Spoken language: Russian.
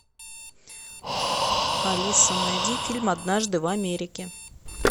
алиса найди фильм однажды в америке